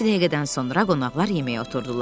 Bir neçə dəqiqədən sonra qonaqlar yeməyə oturdular.